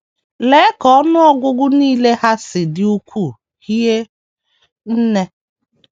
Lee ka ọnụ ọgụgụ nile ha si dị ukwuu hie nne!